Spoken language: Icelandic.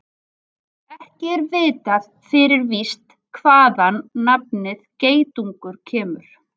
Ekki er vitað fyrir víst hvaðan nafnið geitungur kemur.